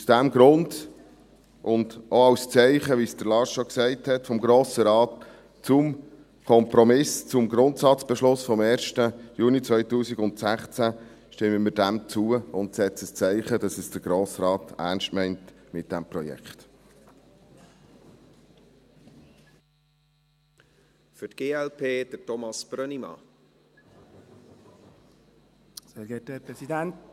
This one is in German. Aus diesem Grund und, wie es Lars Guggisberg schon sagte, auch als Zeichen vom Grossen Rat zum Kompromiss zum Grundsatzbeschluss vom 1. Juni 2016 stimmen wir dem zu und setzen ein Zeichen, dass es der Grosse Rat ernst meint mit diesem Projekt.